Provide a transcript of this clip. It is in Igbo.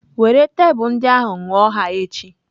Were tebụl ndị ahụ ṅụọ ha echi!